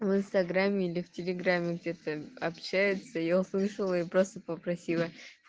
в инстаграме или в телеграмме где-то общаются я услышала и просто попросила